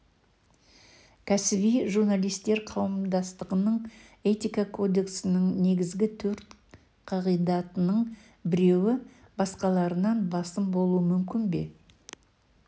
кәсіби журналистер қауымдастығының этика кодексінің негізгі төрт қағидатының біреуі басқаларынан басым болуы мүмкін бе